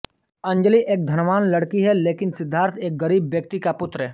अंजली एक धनवान लड़की है लेकिन सिद्धार्थ एक गरीब व्यक्ति का पूत्र